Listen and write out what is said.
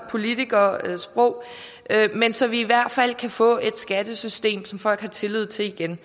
politikersprog så vi i hvert fald kan få et skattesystem som folk igen har tillid til